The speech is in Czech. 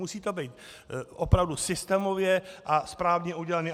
Musí to být opravdu systémově a správně udělané.